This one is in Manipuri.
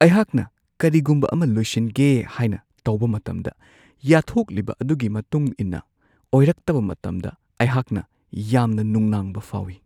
ꯑꯩꯍꯥꯛꯅ ꯀꯔꯤꯒꯨꯝꯕ ꯑꯃ ꯂꯣꯏꯁꯤꯟꯒꯦ ꯍꯥꯏꯅ ꯇꯧꯕ ꯃꯇꯝꯗ ꯌꯥꯠꯊꯣꯛꯂꯤꯕ ꯑꯗꯨꯒꯤ ꯃꯇꯨꯡ ꯏꯟꯅ ꯑꯣꯏꯔꯛꯇꯕ ꯃꯇꯝꯗ ꯑꯩꯍꯥꯛꯅ ꯌꯥꯝꯅ ꯅꯨꯡꯅꯥꯡꯕ ꯐꯥꯎꯋꯤ ꯫